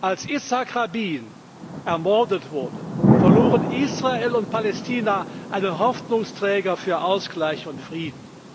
Als Jitzchak Rabin ermordet wurde, verloren Israel und Palästina einen Hoffnungsträger für Ausgleich und Frieden.